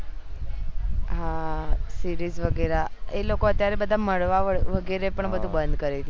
હા series વગેરા એ લોકો અત્યારે મળવા બળવા નું વગેરે પણ બધું બંધ કરી દીધ્યું છે